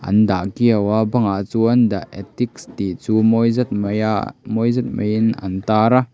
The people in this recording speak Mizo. an dah kiau a bangah chuan the attic tih chu mawi zet mai a mawi zet maiin an tar a.